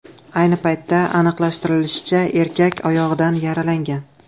Ayni paytda aniqlashtirilishicha, erkak oyog‘idan yaralangan.